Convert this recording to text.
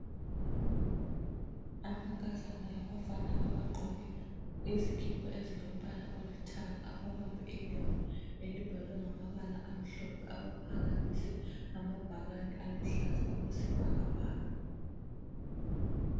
Amankazana labafana abagqoke izikipa ezilombala olithanga ababambe ilembu elibhalwe ngamabala amhlophe abaphakamise amabhakane aluhlaza okwesibhakabhaka.